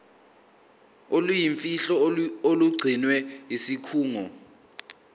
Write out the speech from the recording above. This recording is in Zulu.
oluyimfihlo olugcinwe yisikhungo